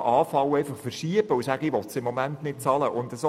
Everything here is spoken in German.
Kosten zu verschieben, weil ich sie im Moment nicht bezahlen will.